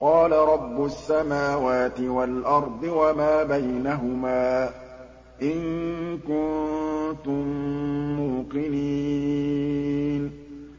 قَالَ رَبُّ السَّمَاوَاتِ وَالْأَرْضِ وَمَا بَيْنَهُمَا ۖ إِن كُنتُم مُّوقِنِينَ